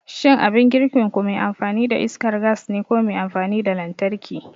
Shin abin girkinku me amfani da iskar gas ne ko me amfani da lantarki?